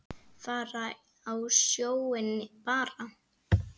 Fara á sjóinn bara.